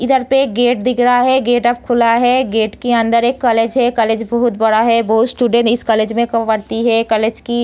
इधर पे एक गेट दिख रहा है गेट अब खुला है गेट के अंदर एक कॉलेज है कॉलेज बहुत बड़ा है बहुत स्टूडेंट इस कॉलेज में पढ़ती है कॉलेज की --